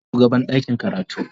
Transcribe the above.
Ni ne shugaban ɗakin karatu.